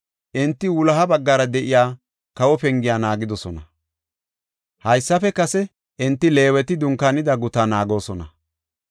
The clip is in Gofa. Enti wuloha baggara de7iya, Kawo Pengiya naagidosona. Haysafe kase enti Leeweti dunkaanida gutaa naagoosona.